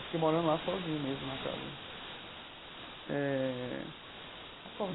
Eu fiquei morando lá sozinho mesmo na casa eh.